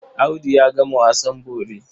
Audu ya gama wasan bori.